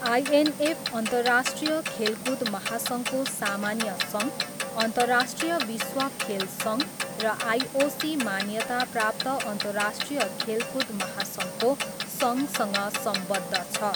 INF अन्तर्राष्ट्रिय खेलकुद महासङ्घको सामान्य सङ्घ, अन्तर्राष्ट्रिय विश्व खेल सङ्घ र आइओसी मान्यता प्राप्त अन्तर्राष्ट्रिय खेलकुद महासङ्घको सङ्घसँग सम्बद्ध छ।